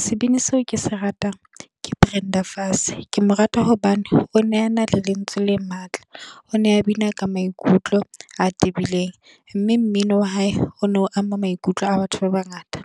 Sebini seo ke se ratang ka Brenda Fassie, ke mo rata hobane o ne a na le lentswe le matla. O ne a bina ka maikutlo a tebileng, mme mmino wa hae o no ama maikutlo a batho ba bangata.